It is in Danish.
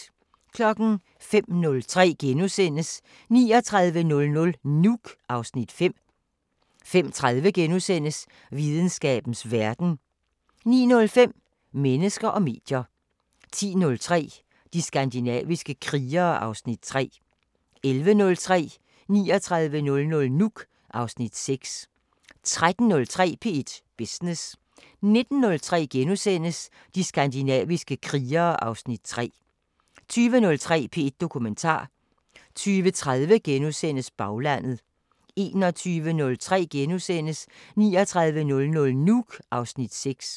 05:03: 3900 Nuuk (Afs. 5)* 05:30: Videnskabens Verden * 09:05: Mennesker og medier 10:03: De skandinaviske krigere (Afs. 3) 11:03: 3900 Nuuk (Afs. 6) 13:03: P1 Business 19:03: De skandinaviske krigere (Afs. 3)* 20:03: P1 Dokumentar 20:30: Baglandet * 21:03: 3900 Nuuk (Afs. 6)*